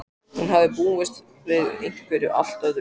Hún hafði búist við einhverju allt öðru.